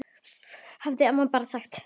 hafði amma bara sagt.